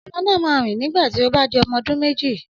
Ọmọ náà máa rìn nígbà tí ó bá di ọmọ ọdún méjì